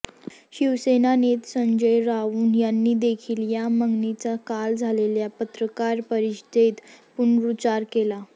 शिवसेना नेते संजय राऊत यांनी देखील या मगणीचा काल झालेल्या पत्रकार परिषदेत पुनरूच्चार केला